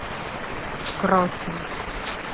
кроффи